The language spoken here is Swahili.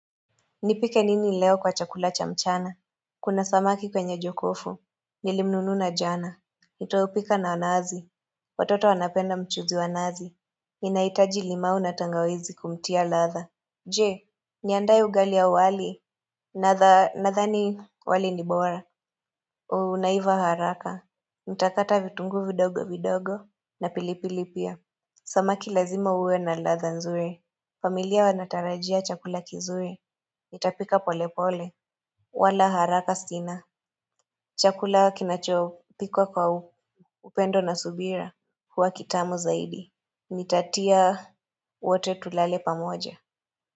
Nipike nini leo kwa chakula cha mchana? Kuna samaki kwenye jokofu. Nilimnununa jana. Nitaupika na naazi. Watoto wanapenda mchuzi wa nazi. Inahitaji limau na tangawizi kumtia ladha. Je, niandae ugali au wali? Nadhani wali ni bora. Unaiva haraka. Nitakata vitunguu vidogo vidogo. Na pilipili pia. Samaki lazima uwe na ladha nzuri. Familia wanatarajia chakula kizue. Nitapika pole pole, wala haraka sina. Chakula kinachopikwa kwa upendo na subira huwa kitamu zaidi Nitatia wote tulale pamoja.